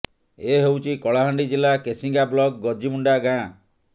ଏ ହେଉଛି କଳାହାଣ୍ଡି ଜିଲ୍ଲା କେସିଙ୍ଗା ବ୍ଲକ ଗୁର୍ଜିମୁଣ୍ଡା ଗାଁ